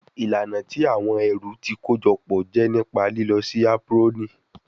Ilana ti awọn ẹru ti kojọpọ jẹ nipa lilọ si aproni